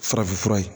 Farafinfura ye